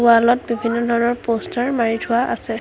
ৱালত বিভিন্ন ধৰণৰ প'ষ্টাৰ মাৰি থোৱা আছে।